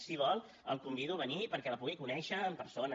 si vol el convido a venir perquè la pugui conèixer en persona